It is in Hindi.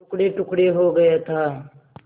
टुकड़ेटुकड़े हो गया था